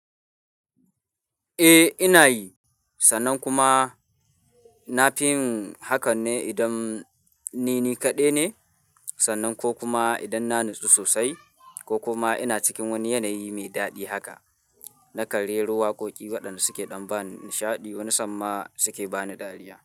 Eh ina yi, sannan kuma na fi yin hakan ne idan ni ni kaɗai ne, sannan ko kuma idan na natsu sosai ko kuma ina cikin wani yanayi mai daɗi haka. Na kan rero wakoƙi waɗanda suke ɗan ba ni nishaɗi wani sa, in ma suke ba ni dariya.